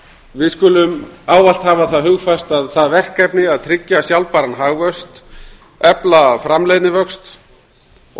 við skulum ávallt hafa það hugfast að því verkefni að tryggja sjálfbæran hagvöxt efla framleiðnivöxt og